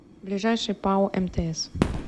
ближайший пао мтс